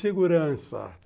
Segurança.